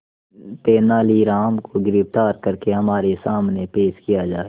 तेनालीराम को गिरफ्तार करके हमारे सामने पेश किया जाए